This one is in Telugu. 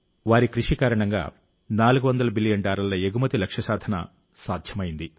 వారి కృషి కారణంగా 400 బిలియన్ డాలర్ల ఎగుమతి లక్ష్య సాధన సాధ్యమైంది